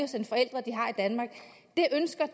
danmark det ønsker